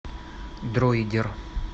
дроидер